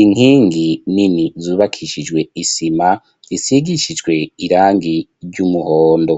.Inkingi nini zubakishijwe isima isigishijwe irangi ry'umuhondo.